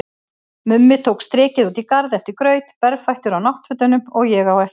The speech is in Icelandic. Mummi tók strikið út í garð eftir graut, berfættur á náttfötunum, og ég á eftir.